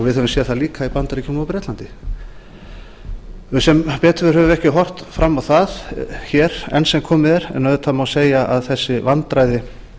við höfum séð það líka í bandaríkjunum og bretlandi við höfum sem betur fer ekki horft fram á það enn sem komið er en auðvitað má segja að þessi vandræði